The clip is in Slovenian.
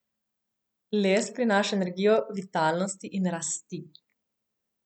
Les prinaša energijo vitalnosti in rasti.